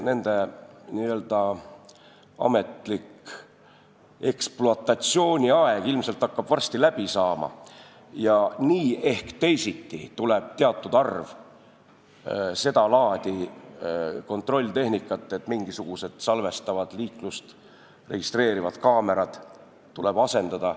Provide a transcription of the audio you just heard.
Nende n-ö ametlik ekspluatatsiooniaeg hakkab ilmselt varsti läbi saama ja nii ehk teisiti tuleb teatud arv seda laadi kontrolltehnikat, mingisugused liiklust registreerivad kaamerad asendada.